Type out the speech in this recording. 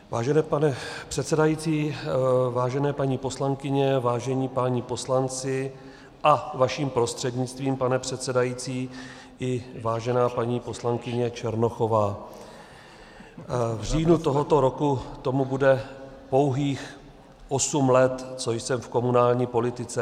Vážený pane předsedající, vážené paní poslankyně, vážení páni poslanci a vaším prostřednictvím, pane předsedající, i vážená paní poslankyně Černochová, v říjnu tohoto roku tomu bude pouhých osm let, co jsem v komunální politice.